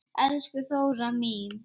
Elsku Þóra mín.